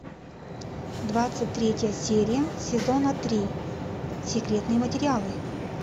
двадцать третья серия сезона три секретные материалы